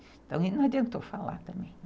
Então, não adiantou falar também.